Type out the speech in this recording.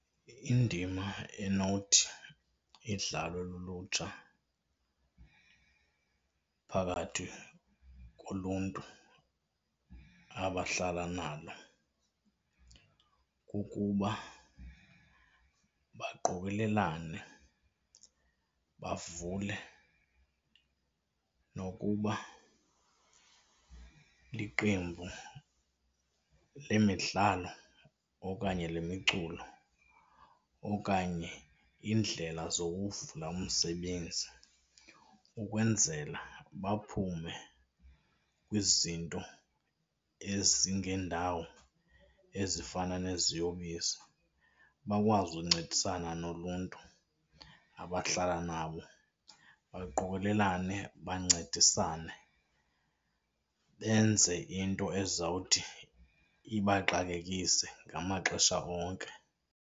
Indima enowuthi idlalwe lulutsha phakathi koluntu abahlala nalo kukuba baqokolelane bavule nokuba liqembu lemidlalo okanye lemiculo, okanye iindlela zokuvula umsebenzi ukwenzela baphume kwizinto ezingendawo ezifana neziyobisi. Bakwazi uncedisana noluntu abahlala nabo baqokolelane bancedisane benze into ezawuthi ibaqalekise ngamaxesha onke.